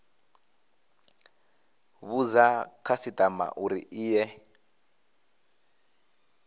vhudza khasitama uri i ye